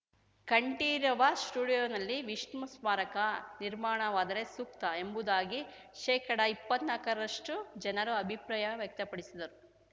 ಕಂಠೀರವ ಸ್ಟುಡಿಯೋನಲ್ಲಿ ವಿಷ್ಣು ಸ್ಮಾರಕ ನಿರ್ಮಾಣವಾದರೆ ಸೂಕ್ತ ಎಂಬುದಾಗಿ ಶೇಕಡಇಪ್ಪತ್ನಾಲಕರಷ್ಟುಜನರು ಅಭಿಪ್ರಾಯ ವ್ಯಕ್ತಪಡಿಸಿದರು